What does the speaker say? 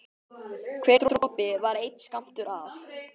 Hver dropi var einn skammtur af